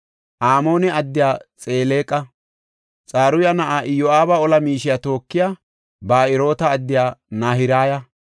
Amoone addiya Xeleqa, Xaruya na7aa Iyo7aaba ola miishiya tookiya Ba7eroota addiya Nahiraya,